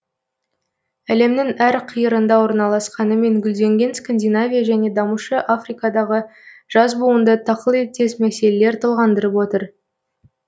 әлемнің әр қиырында орналасқанымен гүлденген скандинавия және дамушы африкадағы жас буынды тақылеттес мәселелер толғандырып отыр